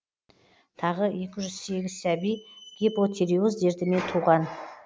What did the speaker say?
тағы екі жүз сегіз сәби гипотериоз дертімен туған